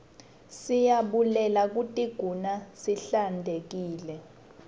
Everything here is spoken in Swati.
siyabulele kutiguna sihlantekile